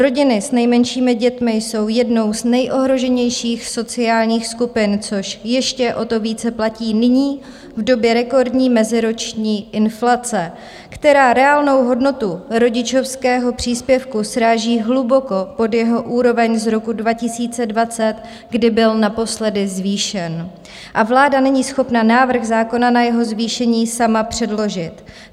Rodiny s nejmenšími dětmi jsou jednou z nejohroženějších sociálních skupin, což ještě o to více platí nyní, v době rekordní meziroční inflace, která reálnou hodnotu rodičovského příspěvku sráží hluboko pod jeho úroveň z roku 2020, kdy byl naposledy zvýšen, a vláda není schopna návrh zákona na jeho zvýšení sama předložit.